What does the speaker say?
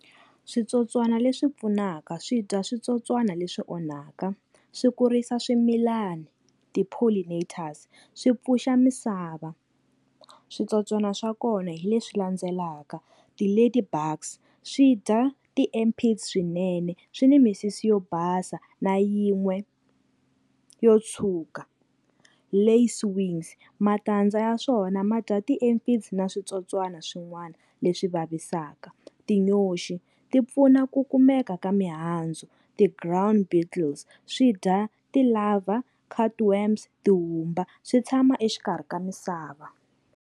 Switsotswana leswi pfunaka swi dya switsotswana leswi onhaka. Swi kurisa swimilani, ti-Pollinaters swi pfuxa misava. Switsotswana swa kona hi leswi landzelaka, ti-Ladybugs swi dya ti-Ampients swinene, swi ni misisi yo basa na yin'we yo tshuka. Lacewings matandza ya swona ma dya ti-Ampients na switsotswana swin'wana leswi vavisaka. Tinyoxi ti pfuna ku kumeka ka mihandzu. Ti-Grout beetles swi dya ti-lovey, cut worms, tihumba swi tshama exikarhi ka misava.